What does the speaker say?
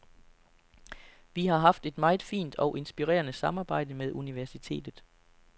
Vi har haft et meget fint og inspirerende samarbejde med universitetet.